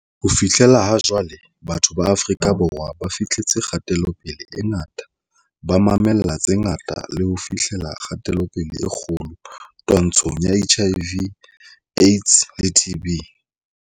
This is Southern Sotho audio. Ho fihlela ha jwale, batho ba Afrika Borwa ba fi hleletse kgatelopele e ngata, ba ma-mella tse ngata le ho fi hlella kgatelopele e kgolo twa-ntshong ya HIV, AIDS le TB.